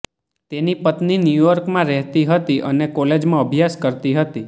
તેની પત્ની ન્યૂયોર્કમાં રહેતી હતી અને કોલેજમાં અભ્યાસ કરતી હતી